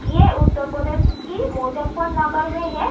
ये उतर प्रदेश की मुज़फ्फरनगर में है।